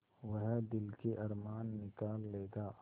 वह दिल के अरमान निकाल लेगा